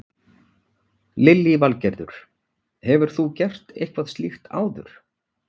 Lillý Valgerður: Hefur þú gert eitthvað slíkt áður?